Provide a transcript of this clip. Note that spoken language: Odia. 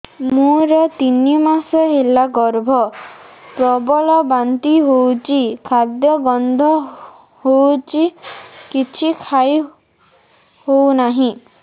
ମୋର ତିନି ମାସ ହେଲା ଗର୍ଭ ପ୍ରବଳ ବାନ୍ତି ହଉଚି ଖାଦ୍ୟ ଗନ୍ଧ ହଉଚି କିଛି ଖାଇ ହଉନାହିଁ